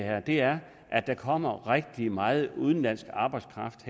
er er at der kommer rigtig meget udenlandsk arbejdskraft